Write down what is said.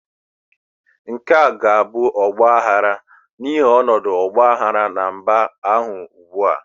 Nke a ga-abụ ọgbaghara n'ihi ọnọdụ ọgba aghara na mba ahụ ugbu a.